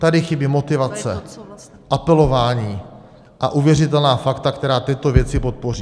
Tady chybí motivace, apelování a uvěřitelná fakta, která tyto věci podpoří.